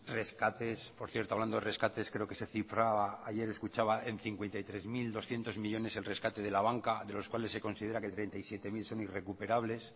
rescates por cierto hablando de rescates creo que se cifraba ayer escuchaba en cincuenta y tres mil doscientos millónes el rescate de la banca de los cuales se considera que treinta y siete mil son irrecuperables